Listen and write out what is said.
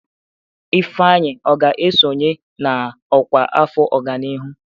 Ifeanyi ọ ga-esonye na ọkwá afọ ọganihu?